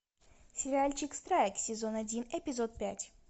сериальчик страйк сезон один эпизод пять